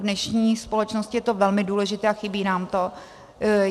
V dnešní společnosti je to velmi důležité a chybí nám to.